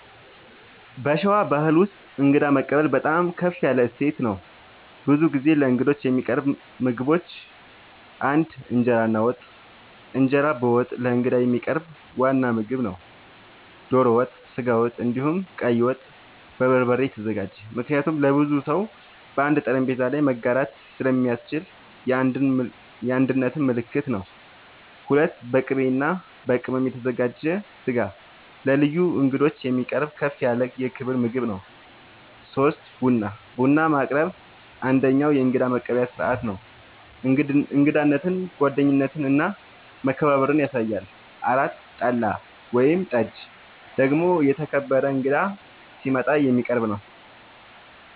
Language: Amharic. በሸዋ ባሕል ውስጥ እንግዳ መቀበል በጣም ከፍ ያለ እሴት ነው። ብዙ ጊዜ ለእንግዶች የሚቀርቡ ምግቦች ፩) እንጀራ እና ወጥ፦ እንጀራ በወጥ ለእንግዳ የሚቀርብ ዋና ምግብ ነው። ዶሮ ወጥ፣ ስጋ ወጥ፣ እንዲሁም ቀይ ወጥ( በበርበሬ የተዘጋጀ) ምክንያቱም ለብዙ ሰው በአንድ ጠረጴዛ ላይ መጋራት ስለሚያስችል የአንድነት ምልክት ነው። ፪.. በቅቤ እና በቅመም የተዘጋጀ ስጋ ለልዩ እንግዶች የሚቀርብ ከፍ ያለ የክብር ምግብ ነው። ፫. ቡና፦ ቡና ማቅረብ አንደኛዉ የእንግዳ መቀበያ ስርዓት ነው። እንግዳነትን፣ ጓደኝነትን እና መከባበርን ያሳያል። ፬ .ጠላ ወይም ጠጅ ደግሞ የተከበረ እንግዳ ሲመጣ የሚቀረብ ነዉ